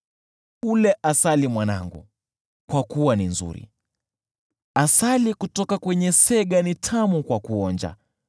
Ule asali mwanangu, kwa kuwa ni nzuri; asali kutoka kwenye sega ni tamu kwa kuonja.